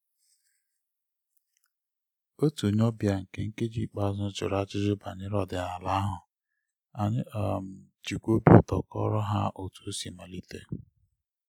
otu onye ọbịa nke nkeji ikpeazụ jụrụ ajụjụ banyere ọdịnala ahụ anyị um jikwa obi ụtọ kọọrọ ha otu osi mmalite